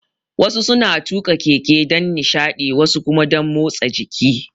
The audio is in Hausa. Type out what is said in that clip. Wasu suna tuƙa keke dan nishadi, wasu kuma dan motsa jiki.